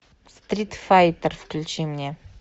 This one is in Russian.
стритфайтер включи мне